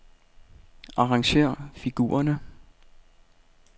Arrangér figurerne.